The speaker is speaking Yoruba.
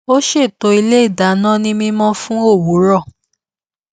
ó ṣètò ilé ìdáná ní mímọ fún òwúrọ